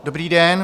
Dobrý den.